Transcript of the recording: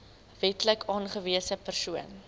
wetlik aangewese persoon